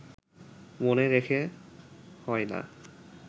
মনে রেখে হয় না